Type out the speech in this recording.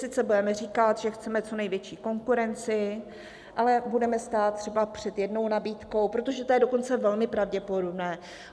Sice budeme říkat, že chceme co největší konkurenci, ale budeme stát třeba před jednou nabídkou, protože to je dokonce velmi pravděpodobné.